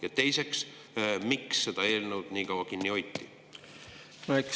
Ja teiseks, miks seda eelnõu nii kaua kinni hoiti?